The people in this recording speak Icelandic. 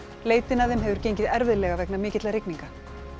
leitin að þeim hefur gengið erfiðlega vegna mikilla rigninga